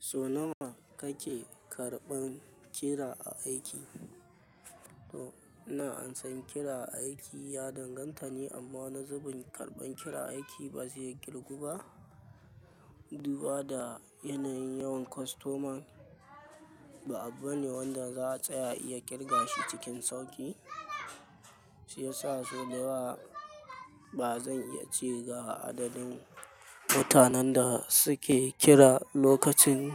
So nawa kake karɓan kira aiki? To, ina ansan kira aiki ya danganta ne amma wani zubin karɓan kira aiki ba zai yi kirgu ba. Duba da yanayin yawan kwastoman ba abba ne wanda za'a tsaya iya ƙirga shi cikin sauƙi. Shi yasa so da ba zan iya ce ga adadin mutanen da suke kira lokacin,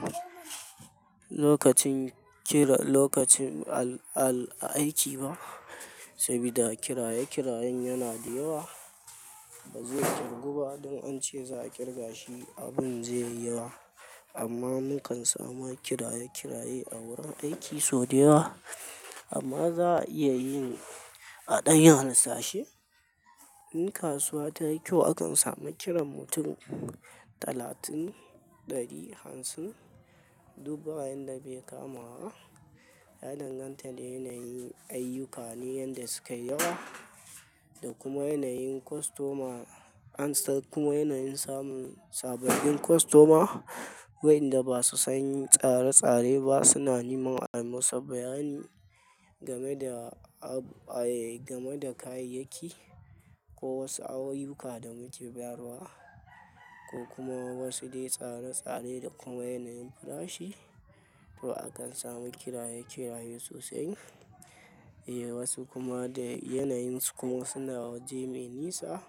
lokacin kira, lokacin al'al a aiki ba. Sabida kiraye kirayen yana da yawa. Ba zai kirgu ba don ance za a ƙirga shi abin zai yi yawa. Amma mukan samu kiraye kiraye a wurin aiki sau da yawa. Amma za a iya yin a ɗayan hasashi. In kasuwa ta yi kyau akan samu kiran mutum talatin ɗari hamsin. Duba yanda bai kama wa, ya danganta da yanayin ayyuka ne yanda suke yawa. Da kuma yanayin kwastoma ansa kuma yanayin samun sababbin kwastoma. Wayanda ba su san tsare tsare ba suna neman ai musu bayani game da, a, eh, game da kayayyaki ko wasu awo ayyuka da muke bayarwa. Ko kuma wasu dai tsare tsare da kuma yanayin farashi. To akan samu kiraye kiraye sosai. Eh wasu kuma da yanayin su kuma suna waje mai nisa.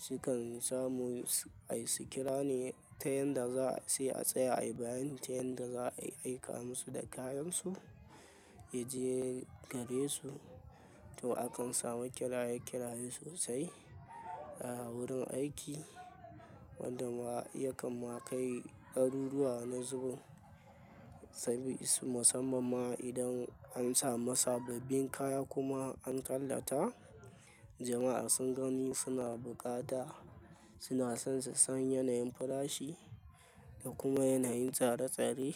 Sukan samu ai su kira ne ta yanda za ce a tsaya a yi bayani ta yanda za a aika musu da kayan su. Ya je gare su. To akan samu kiraye kiraye sosai a wurin aiki. Wanda ma ya kam ma kai daruruwa na zubin. Sabis musammana idan an sa ma sababbin kaya kuma an tallata. Jama'a sun gani suna buƙata suna son su san yanayin farashi da kuma yanayin tsare tsare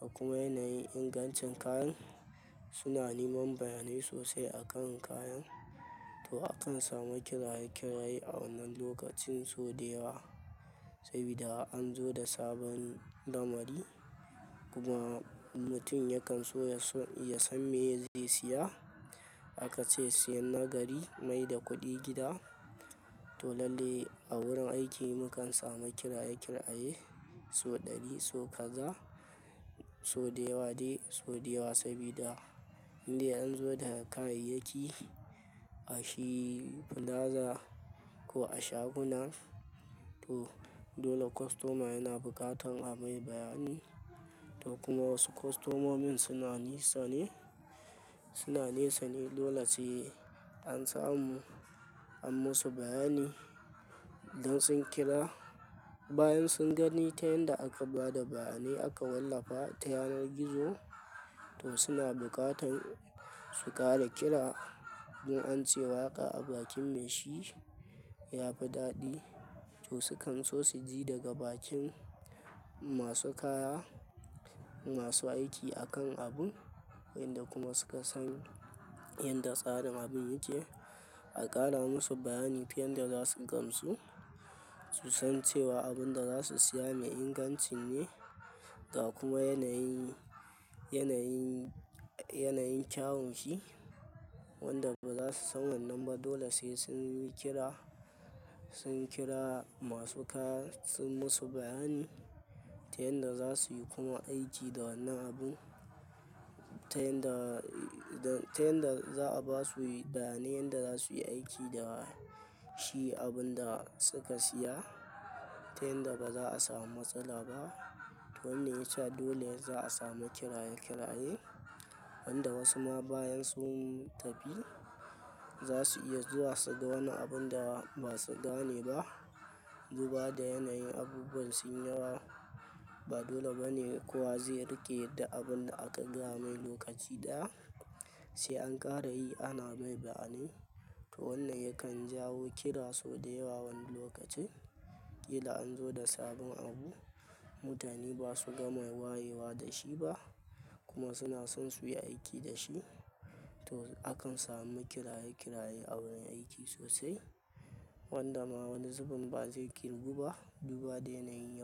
da kuma yanayin ingancin kayan. Suna neman bayanai sosai akan kayan. To akan samu kiraye kiraye a wannan lokacin sau da yawa. Sabida an zo da sabon lamari. Kuma mutum yakan so ya son, ya san me zai siya. Aka ce siyan na gari mai da kuɗi gida. To lalle a wurin aiki mukan samu kiraye kiraye sau ɗari, sau kaza, sau da yawa dai sau da yawa sabida indai an zo da kayayyaki a shi fulaza ko a shaguna. To dole kwastoma yana buƙatan a mai bayani. To kuma wasu kwastomomin suna nisa ne, suna nesa ne dole sai an samu an musu bayani idan sun kira. Bayan sun gani ta yanda aka ba da bayanai aka wallafa ta yanar gizo. To suna buƙatan su ƙara kira don ance waƙa a bakin mai shi ya fi daɗi. To su kan so su ji daga bakin masu kaya, masu aiki akan abun. Wanda kuma suka san yadda tsarin abun yake. A ƙara musu bayani ta yan da za su gamsu. Su san cewa abun da za su siya mai inganci ne. Ga kuma yanayin, yanayin, yanayin kyawun shi. Wanda ba za su san wannan ba dole sai sun yi kira. Sun kira masu kaya sun musu bayani ta yanda za su yi kuma aiki da wannan abun. Ta yanda, ta yanda za a ba su bayani yanda za su yi aiki da shi abun da suka siya. Ta yanda ba za a samu matsala ba. To wannan ya sa dole za a samu kiraye kiraye. Wanda wasu ma bayan sun tafi za su iya zuwa su ga wani abun da ba su gane ba. Duba da yanayin abubuwan sun yawa. Ba dole ba ne kowa zai riƙe da abun da aka gaya mai lokaci ɗaya. Sai an ƙara yi ana mai bayani. To wannan yakan jawo kira sau da yawa wani lokacin. Kila an zo da sabon abu. Mutane ba su gama wayewa da shi ba. Kuma suna son su yi aiki da shi. To akan samu kiraye kiraye a wurin aiki sosai. Wanda ma wani zubin ba zai kirgu ba. Duba da yanayin yawan.